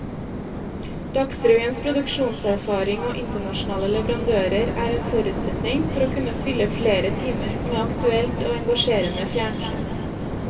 Dagsrevyens produksjonserfaring og internasjonale leverandører er en forutsetning for å kunne fylle flere timer med aktuelt og engasjerende fjernsyn.